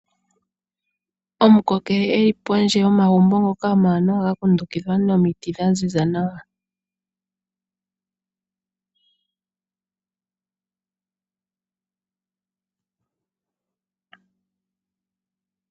Omukokele eli pondje yomagumbo ngoka omawanawa ga kundukidhwa nomiti dha ziza nawa.